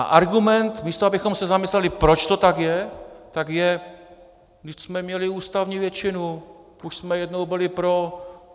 A argument, místo abychom se zamysleli, proč to tak je, tak je: Vždyť jsme měli ústavní většinu, už jsme jednou byli pro.